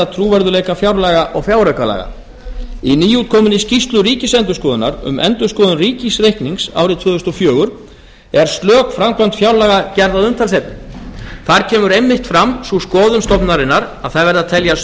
trúverðugleika fjárlaga og fjáraukalaga í nýútkominni skýrslu ríkisendurskoðunar um endurskoðun ríkisreiknings ársins tvö þúsund og fjögur er slök framkvæmd fjárlaga gerð að umtalsefni þar kemur einmitt fram sú skoðun stofnunarinnar að það verði að teljast